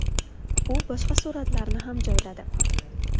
U boshqa suratlarni ham joyladi.